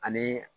Ani